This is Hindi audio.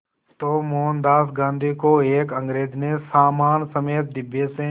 तो मोहनदास गांधी को एक अंग्रेज़ ने सामान समेत डिब्बे से